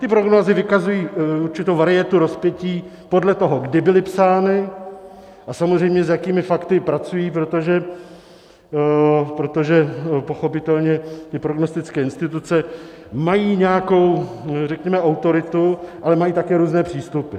Ty prognózy vykazují určitou varietu rozpětí podle toho, kdy byly psány a samozřejmě s jakými fakty pracují, protože pochopitelně ty prognostické instituce mají nějakou autoritu, ale mají také různé přístupy.